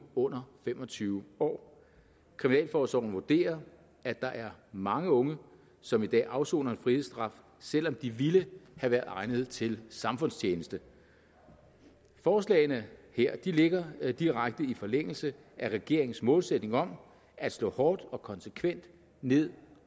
under fem og tyve år kriminalforsorgen vurderer at der er mange unge som i dag afsoner en frihedsstraf selv om de ville have været egnede til samfundstjeneste forslagene her ligger direkte i forlængelse af regeringens målsætning om at slå hårdt og konsekvent ned